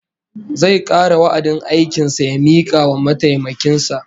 Zai kare wa'adin aikin sa ya mika wa mataimakin sa